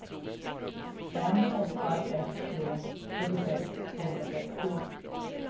fem åtta ett tre fyrtiosex tvåhundrasextio